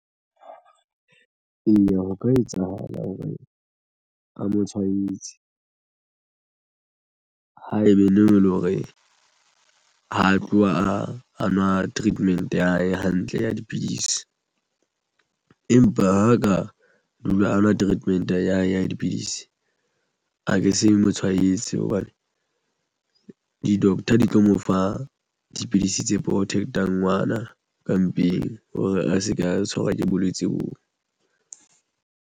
Eya, ho ka etsahala hore a mo tshwaetsa haebe ntho eleng hore ha a tloha a nwa treatment ya hae hantle ya dipidisi, empa ha ka dula anwa treatment ya hae ya dipidisi aka se mo tshwanetse hobane di-doctor di tlo mo fa dipidisi tse protect-a ngwana ka mpeng hore a se ka tshwarwa ke bolwetse bo.